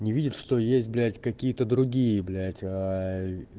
не видит что есть блять какие-то другие блять